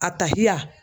A ta